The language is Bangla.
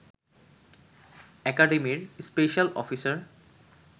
একাডেমির স্পেশাল অফিসার